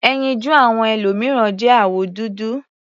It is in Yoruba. Ẹyinjú àwọn ẹlòmìíràn jẹ́ àwọ̀ dúdú.